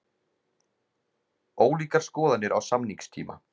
Ólíkar skoðanir á samningstíma